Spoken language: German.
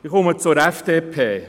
Ich komme zur FDP.